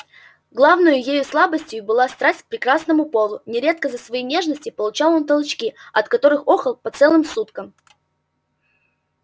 главною ею слабостию была страсть к прекрасному полу нередко за свои нежности получал он толчки от которых охал по целым суткам